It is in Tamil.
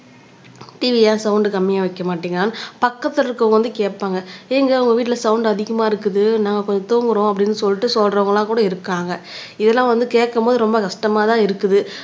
TV ஏன் சவுண்ட் கம்மியா வைக்க மாட்டிங்களான்னு பக்கத்துல இருக்கிறவங்க வந்து கேட்பாங்க ஏங்க உங்க வீட்டுல சவுண்ட் அதிகமா இருக்குது நாங்க கொஞ்சம் தூங்குறோம் அப்படின்னு சொல்லிட்டு சொல்றவங்க எல்லாம் கூட இருக்காங்க இதெல்லாம் வந்து கேக்கும் போது ரொம்ப கஷ்டமாதான் இருக்குது